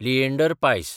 लिएंडर पायस